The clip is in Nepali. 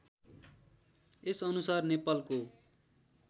यस अनुसार नेपालको